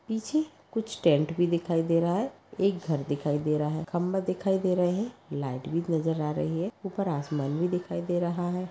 पीछे कुछ टेंट भी दिखाई दे रहा है। एक घर दिखाई दे रहा है। खंभा दिखाई दे रहे है। लाइट भी नजर आ रही है। ऊपर आसमान भी दिखाई दे रहा है।